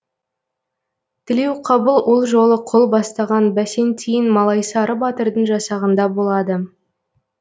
тілеуқабыл ол жолы қол бастаған бәсентиін малайсары батырдың жасағында болады